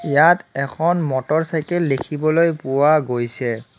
ইয়াত এখন motorcycle দেখিবলৈ পোৱা গৈছে।